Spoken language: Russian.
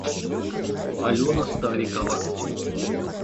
алена старикова